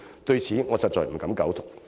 對此說法，我實不敢苟同。